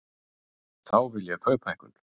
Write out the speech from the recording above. Þá vil ég kauphækkun.